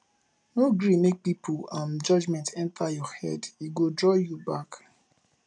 no gree make pipo um judgement enta your head e go draw you back